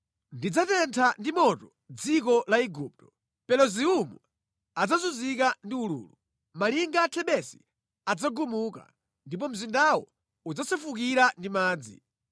Ndidzatentha ndi moto dziko la Igupto; Peluziumu adzazunzika ndi ululu. Malinga a Thebesi adzagumuka, ndipo mzindawo udzasefukira ndi madzi.